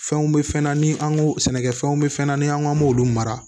Fɛnw bɛ fɛn na ni an ko sɛnɛkɛfɛnw bɛ fɛn na ni an k'an b'olu mara